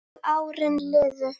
Og árin liðu.